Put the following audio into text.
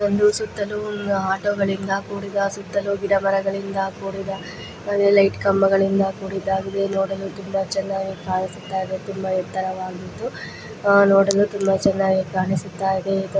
ಒಂದು ಸುತ್ತಲು ಒಂದು ಆಟೋ ಗಳಿಂದ ಕುಡಿದ ಸುತ್ತಲೂ ಗಿಡ ಮರಗಳಿಂದ ಕೂಡಿದ ಲೈಟ್ ಕಂಬಗಳಿಂದ ಕೂಡಿದ ಇವೆ ನೋಡಲು ತುಂಬಾ ಚೆನ್ನಾಗಿ ಕಾಣಿಸುತ್ತಾಯಿದೆ. ತುಂಬಾ ಎತ್ತರವಾಗಿದ್ದು ನೋಡಲು ತುಂಬಾ ಚೆನ್ನಾಗಿ ಕಾಣಿಸುತ್ತಾಯಿದೆ ಇದು --